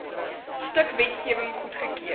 stuk wetgewing goedgekeur